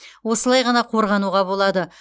осылай ғана қорғануға болады